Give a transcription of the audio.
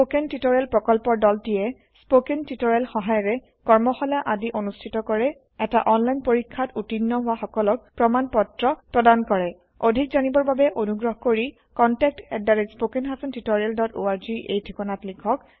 spoken tutorial প্ৰকল্পৰ দলটিয়ে spoken tutorial সহায়িকাৰে কৰ্মশালা আদি অনুষ্ঠিত কৰে এটা অনলাইন পৰীক্ষাত উত্তীৰ্ণ হোৱা সকলক প্ৰমাণ পত্ৰ প্ৰদান কৰে অধিক জানিবৰ বাবে অনুগ্ৰহ কৰি contactspoken tutorialorg এই ঠিকনাত লিখক